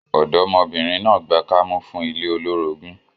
Ọ̀dọ́mọbìnrin náà gbà kámú fún ilé olórogún